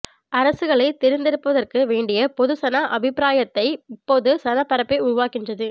அரசுகளை தெரிந்தெடுப்பதற்கு வேண்டிய பொதுசன அபிப்பிராயத்தை இப்பொது சனப் பரப்ப்பே உருவாக்குகின்றது